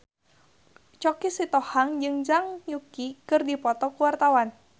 Choky Sitohang jeung Zhang Yuqi keur dipoto ku wartawan